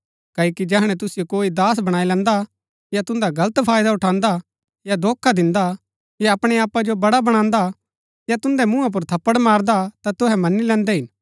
क्ओकि जैहणै तुसिओ कोई दास बणाई लैन्दा या तुन्दा गलत फायदा उठान्दा हा या धोखा दिन्दा हा या अपणै आपा जो बड़ा बणान्दा या तुन्दै मुँहा पुर थप्पड़ मारदा हा ता तुहै मनी लैन्दै हिन